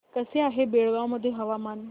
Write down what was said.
कसे आहे बेळगाव मध्ये हवामान